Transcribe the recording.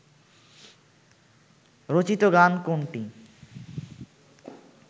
রচিত গান কোনটি